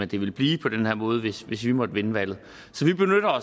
det ville blive på den her måde hvis hvis vi måtte vinde valget